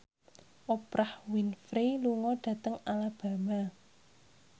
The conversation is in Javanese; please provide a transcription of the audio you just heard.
Oprah Winfrey lunga dhateng Alabama